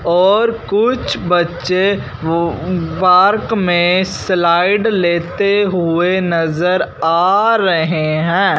और कुछ बच्चे वो पार्क में स्लाइड लेते हुए नजर आ रहे हैं।